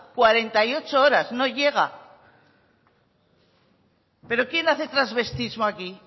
cuarenta y ocho horas no llega pero quién hace travestismo aquí